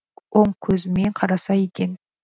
оң көзімен қараса екен